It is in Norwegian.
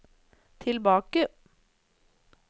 tilbake